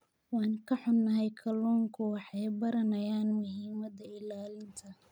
Waan ka xunahay, kalluunku waxay baranayaan muhiimada ilaalinta.